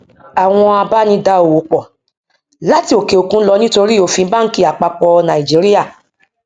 àwọn abá ní dá owó pò láti òkè òkun lọ nítorí òfin banki àpapọ nàìjíríà